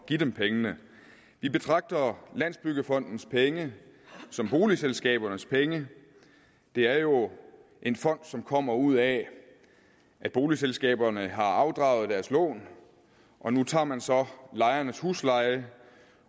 give dem pengene vi betragter landsbyggefondens penge som boligselskabernes penge det er jo en fond som kommer ud af at boligselskaberne har afdraget deres lån og nu tager man så lejernes husleje